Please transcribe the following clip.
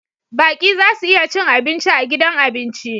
Baƙi za su iya cin abinci a gidan abinci